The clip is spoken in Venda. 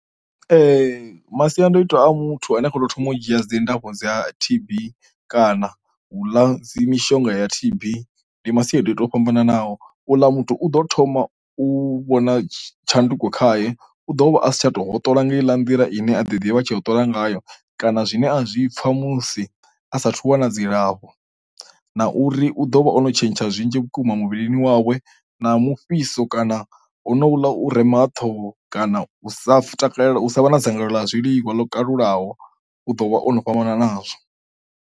Masiandoitwa a muthu ane a khou tou thoma u dzhia dzi ndafho dza tb kana u ḽa dzi mishonga ya tb ndi masiandoitwa o fhambananaho, u ḽa muthu u ḓo thoma u vhona tshanduko khaye u ḓo vha asi tsha tou hoṱola nga heiḽa nḓila ine a ḓi ḓivha tshi hoṱola ngayo, kana zwine a zwi pfha musi asathu u wana dzilafho, na uri u ḓo vha ono tshentsha zwinzhi vhukuma muvhilini wawe na mufhiso kana honouḽa u rema ha ṱhoho kana u sa takalela u sa vha na dzangalelo ḽa zwiḽiwa lwo kalulaho u ḓo vha ono fhambana nazwo.